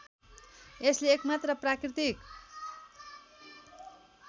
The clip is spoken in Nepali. यसले एकमात्र प्राकृतिक